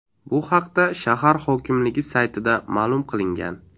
Bu haqda shahar hokimligi saytida ma’lum qilingan .